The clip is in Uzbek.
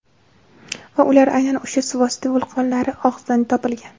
Va ular aynan o‘sha suvosti vulqonlari og‘zidan topilgan.